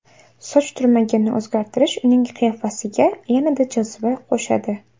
Soch turmagini o‘zgartirishi uning qiyofasiga yanada joziba qo‘shadi.